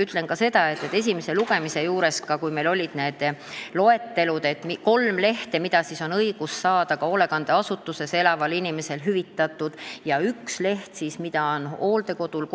Ütlen ka seda, et juba esimesel lugemisel oli meil olemas kolmeleheküljeline loetelu abivahenditest, mille hüvitamist on õigus saada ka hoolekandeasutuses elaval inimesel, üks lehekülg oli aga selliseid, mida on hooldekodul